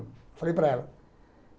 Eu falei para ela.